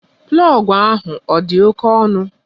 Plọgu ahụ ọ dị oké ọnụ?